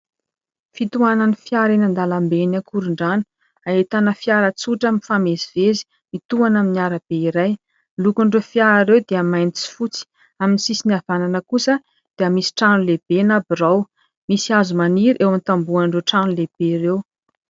Fitohanan'ny fiara eny an-dalambe eny Ankorondrano, ahitana fiara tsotra mifamezivezy mitohana amin'ny arabe iray. Ny lokon'ireo fiara ireo dia mainty sy fotsy, amin'ny sisiny havanana kosa dia misy trano lehibe na birao. Misy hazo maniry eo amin'ny tambohon'ireo trano lehibe ireo.